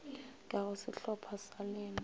ka go sehlopha sa lena